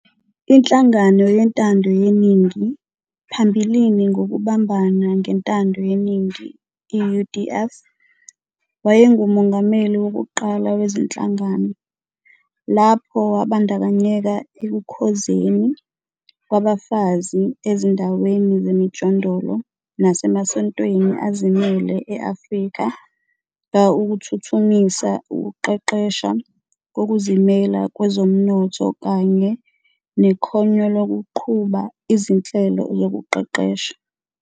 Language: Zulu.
Inhlangano yentando yeningi, phambili ngokubambana ngentando yeningi, i-UDF, wayengumongameli wokuqala wezinhlangano. Lapho wabandakanyeka ekukhozeni kwabafazi ezindaweni zemjondoloo nasemasontweni azimele eAfrika ka ukuthuthumisa ukuqeqesaha kokuzimela kwenzomnotho kanye nekhonyolokuqhuba izinhlelo zokuqeqesha.